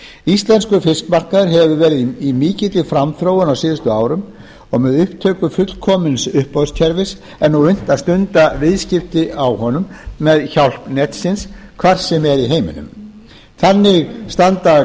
íslenskur fiskmarkaður hefur verið í mikilli framþróun á síðustu árum með upptöku fullkomins uppboðskerfis er nú unnt að stunda viðskipti á honum með hjálp netsins hvar sem er í heiminum þannig standa